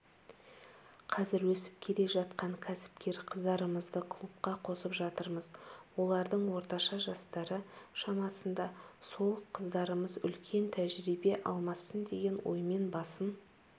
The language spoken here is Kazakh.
қазір өсіп келе жатқан кәсіпкер қыздарымызды клубқа қосып жатырмыз олардың орташа жастары шамасында сол қыздарымыз үлкен тәжірибе алмассын деген оймен басын